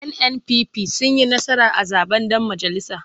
NNPP sun yi nasara a zaɓen ɗan majalisa.